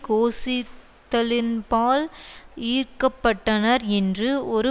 கோசித்தலின்பால் ஈர்க்கப்பட்டனர் என்று ஒரு